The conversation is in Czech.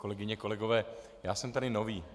Kolegyně, kolegové, já jsem tady nový.